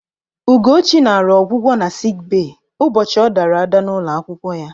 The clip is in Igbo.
Ụgochị naara ọgwụgwọ na sik bee ụbọchị ọ dara ada n'ụlọ akwụkwọ ya.